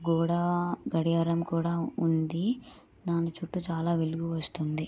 గోడ గడియారం కూడా ఉంది. దాని చుట్టు చాలా వెలుగు వస్తున్నది.